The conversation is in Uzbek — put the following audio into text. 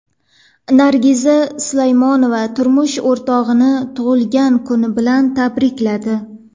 Nargiza Salmonova turmush o‘rtog‘ini tug‘ilgan kuni bilan tabrikladi.